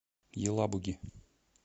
елабуги